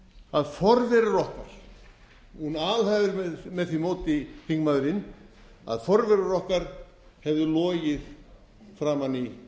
að forverar okkar hún alhæfa með því móti þingmaðurinn að forverar okkar hefðu logið framan í